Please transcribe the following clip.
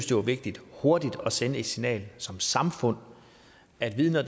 det var vigtigt hurtigt at sende det signal som samfund at vidner